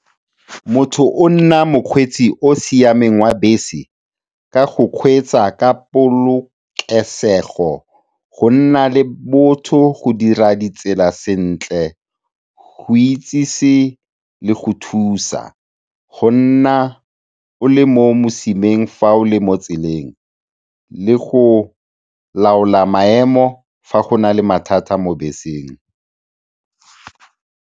Motho o nna mokgweetsi yo a siameng wa bese ka go kgweetsa ka polokesego, go nna le botho, go dira ditsela sentle, go itsese le go thusa, go nna o le mo mosimaneng fa o le mo tseleng le go laola maemo fa go na le mathata mo beseng.